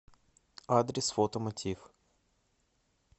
адрес фото мотив